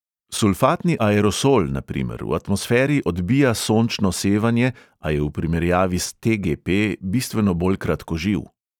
Sulfatni aerosol, na primer, v atmosferi odbija sončno sevanje, a je v primerjavi s te|ge|pe bistveno bolj kratkoživ.